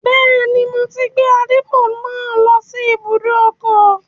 Bẹ́ẹ̀ni, mo ti gbé àdìpọ̀ náà lọ sí ibùdó ọkọ̀